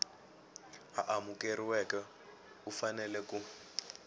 a amukeriweke u fanele ku